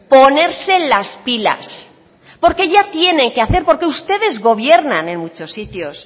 ponerse las pilas porque ya tienen qué hacer porque ustedes gobiernan en muchos sitios